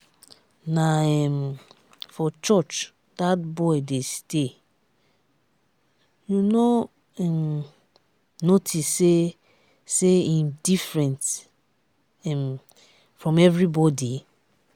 na um for church dat boy dey stay. you no um notice say say im different um from everybody?